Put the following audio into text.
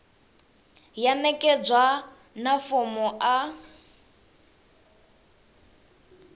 ya ṋekedzwa na fomo a